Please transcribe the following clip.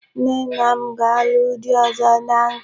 Nne nna m ga-alụ di ọzọ na nka.